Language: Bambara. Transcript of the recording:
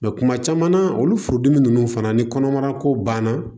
Mɛ kuma caman na olu furudimi ninnu fana ni kɔnɔmara ko banna